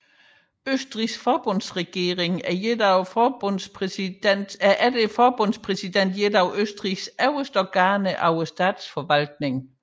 Østrigs forbundsregering er efter forbundspræsidenten et af Østrigs øverste organer af statsforvaltningen